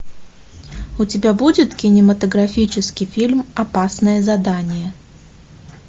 у тебя будет кинематографический фильм опасное задание